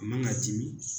A man ka dimi